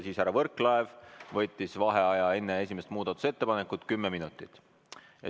Siis härra Võrklaev võttis enne esimese muudatusettepaneku hääletamist kümneminutilise vaheaja.